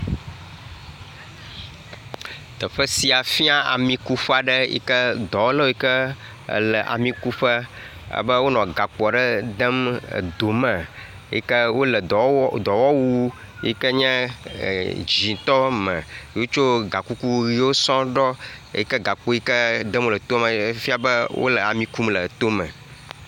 Teƒe sia fia amikuƒe aɖe yi ke dɔwɔlawo yi ke le amikuƒe alebe wonɔ gakpo aɖe dem edo me yi ke wole dɔwɔwu yi ke nye er dzɛ̃tɔ me ye wotso gakuku ʋiwo sɔ̃ɔ ɖɔ eyi ke gakpo yi ke dem wole toa me efia be wole ami kum le tome.